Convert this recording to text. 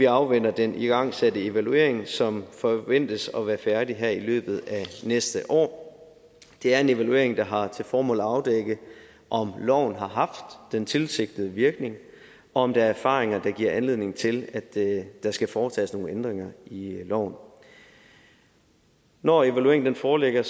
afventer den igangsatte evaluering som forventes at være færdig her i løbet af næste år det er en evaluering der har til formål at afdække om loven har haft den tilsigtede virkning og om der er erfaringer der giver anledning til at der skal foretages nogle ændringer i loven når evalueringen foreligger